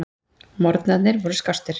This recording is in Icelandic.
Morgnarnir voru skástir.